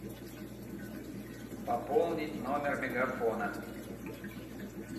пополнить номер мегафона